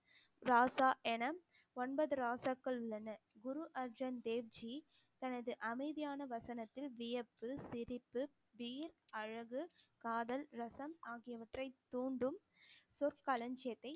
ராசா என ஒன்பது ராசாக்கள் உள்ளன குரு அர்ஜன் தேவ்ஜி தனது அமைதியான வசனத்தில் வியப்பு, சிரிப்பு, வீர், அழகு, காதல், ரசம் ஆகியவற்றை தூண்டும் சொற்களஞ்சியத்தை